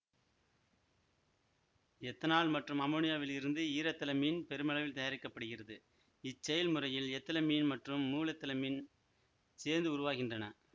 ethanol மற்றும் அமோனியாவில் இருந்து ஈரெத்திலமீன் பெருமளவில் தயாரிக்க படுகிறது இச்செயல் முறையில் எத்திலமீன் மற்றும் மூவெத்திலமீன் சேர்ந்து உருவாகின்றன